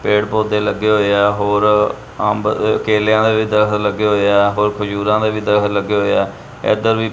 ਪੇੜ ਪੋਤੇ ਲੱਗੇ ਹੋਏ ਆ ਹੋਰ ਅੰਬ ਕੇਲਿਆਂ ਦੇ ਵੀ ਦਰਖਤ ਲੱਗੇ ਹੋਏ ਆ ਹੋਰ ਖਜੂਰਾਂ ਦੇ ਵੀ ਲੱਗੇ ਹੋਏ ਆ ਇਧਰ ਵੀ--